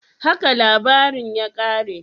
Haka labarin ya kare?